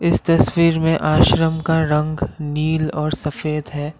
इस तस्वीर में आश्रम का रंग नील और सफेद है।